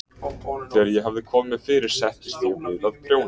Þegar ég hafði komið mér fyrir settist ég við að prjóna.